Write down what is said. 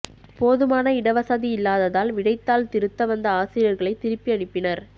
போதுமான இடவசதி இல்லாததால் விடைத்தாள் திருத்த வந்த ஆசிரியர்களை திருப்பி அனுப்பினர்